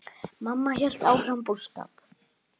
Mamma hélt áfram búskap.